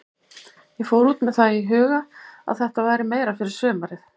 Ég fór út með það í huga að þetta væri meira fyrir sumarið.